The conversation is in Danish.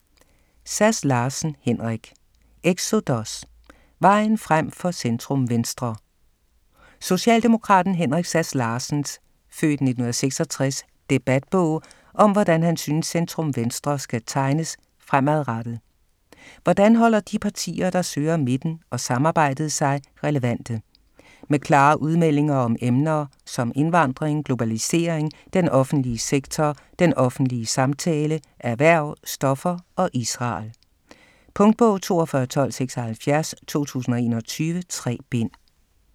Sass Larsen, Henrik: Exodus: vejen frem for centrum-venstre Socialdemokraten Henrik Sass Larsens (f. 1966) debatbog om hvordan han synes centrum-venstre skal tegnes fremadrettet. Hvordan holder de partier der søger midten og samarbejdet sig relevante? Med klare udmeldinger om emner som indvandring, globalisering, den offentlige sektor, den offentlige samtale, erhverv, stoffer og Israel. Punktbog 421276 2021. 3 bind.